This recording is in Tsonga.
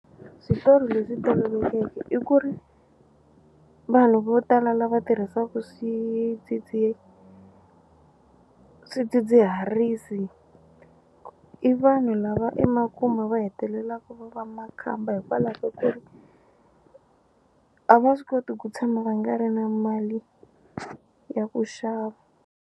Switori leswi tolovelekeke i ku ri vanhu vo tala lava tirhisaku swidzidziharisi i vanhu lava emakumu va hetelelaku va va makhamba hikwalaho ka ku ri a va swi koti ku tshama va nga ri na mali ya ku xava.